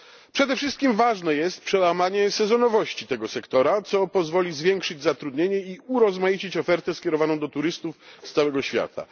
Przede wszystkim ważne jest przełamanie sezonowości tego sektora, co pozwoli zwiększyć zatrudnienie i urozmaicić ofertę skierowaną do turystów z całego świata.